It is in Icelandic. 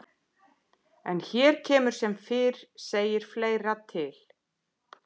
En hér kemur sem fyrr segir fleira til.